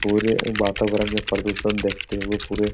पूरे वातावरण में प्रदूषण देखते हुए पूरे --